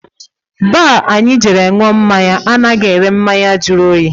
Baar anyị jere ṅụọ mmáñyá anaghị ere mmanya jụrụ oyi.